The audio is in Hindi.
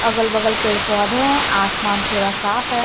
अगल बगल पेड़ पौधे हैं आसमान पूरा साफ है।